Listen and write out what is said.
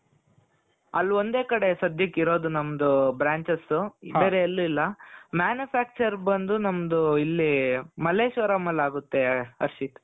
ಅಲ್ಲಿ ಒಂದೇ ಕಡೆ ಸದ್ಯಕ್ಕೆ ಇರೋದು ನಮ್ದು branches ಬೇರೆ ಎಲ್ಲೂ ಇಲ್ಲಾ manufacture ಬಂದು ನಮ್ದು ಇಲ್ಲಿ ಮಲ್ಲೇಶ್ವರಂ ಅಲ್ಲಾಗುತ್ತೆ ಹರ್ಷಿತ್.